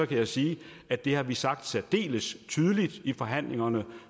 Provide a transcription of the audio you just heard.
kan jeg sige at det har vi sagt særdeles tydeligt i forhandlingerne